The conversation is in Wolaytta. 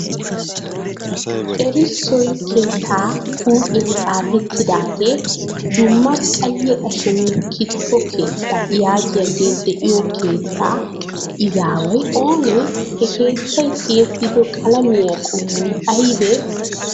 Erissoy keettaa huuphiyan xaafettidaagee" dumma qayye ashonne kitifo keetta" yaagiyaagee diyo keettaa izaaway oonee? Ha keettay tiyettido qalamiya qommoy aybee?